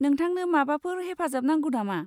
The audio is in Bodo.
नोंथांनो माबाफोर हेफाजाब नांगौ नामा?